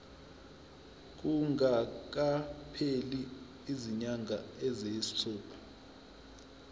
kungakapheli izinyanga eziyisithupha